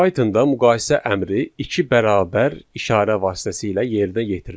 Pythonda müqayisə əmri iki bərabər işarə vasitəsilə yerinə yetirilir.